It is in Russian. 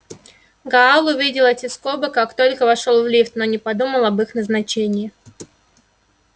гаал увидел эти скобы как только вошёл в лифт но не подумал об их назначении